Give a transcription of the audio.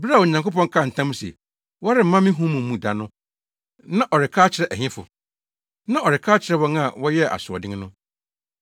Bere a Onyankopɔn kaa ntam se, “Wɔremma me home mu da” no, na ɔreka akyerɛ ɛhefo? Na ɔreka akyerɛ wɔn a wɔyɛɛ asoɔden no.